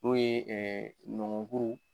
N'o ye nɔngɔkuru